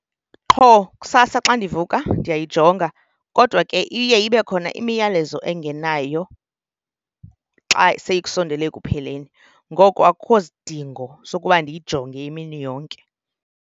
Qho kusasa xa ndivuka ndiyayijonga. Kodwa ke iye ibe khona imiyalezo engenayo xa sekusondele ekupheleni, ngoku akukho sidingo sokuba ndiyijonge imini yonke.